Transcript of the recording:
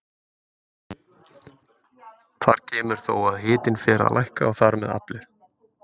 Þar kemur þó að hitinn fer að lækka og þar með aflið.